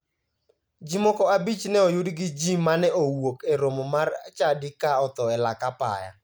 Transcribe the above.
Ji moko abich ne oyudi gi ji mane owuok e romo mar chadi ka otho e lak apaya.